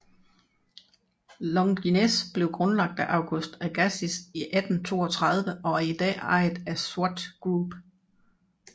Longines blev grundlagt af Auguste Agassiz i 1832 og er i dag ejet af Swatch Group